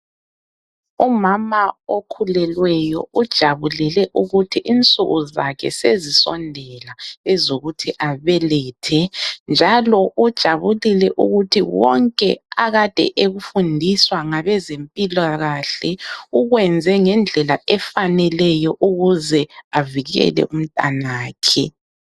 Umama okhulelweyo ujabulele ukuthi insuku zakhe sezisondela ezokuthi abelethe, njalo ujabulile ukuthi wonke akade ekufundiswa ngabezempilakahle ukwenze ngendlela efaneleyo ukuze avikele umntanakhe.